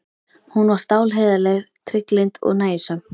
Hún var stálheiðarleg, trygglynd og nægjusöm.